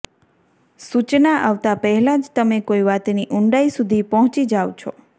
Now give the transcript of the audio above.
સૂચના આવતા પહેલા જ તમે કોઈ વાતની ઊંડાઈ સુધી પહોંચી જાવ છો